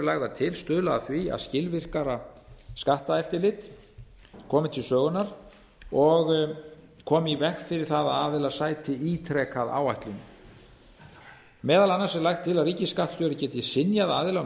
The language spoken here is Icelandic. lagðar til stuðla að því að skilvirkara skatteftirlit komi til sögunnar og koma í veg fyrir að aðilar sæti ítrekað áætlunum meðal annars er lagt til að ríkisskattstjóri geti synjað aðila um